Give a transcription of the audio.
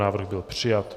Návrh byl přijat.